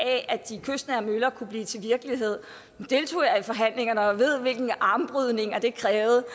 af at de kystnære møller kunne blive til virkelighed nu deltog jeg i forhandlingerne og ved hvilke armlægninger det krævede og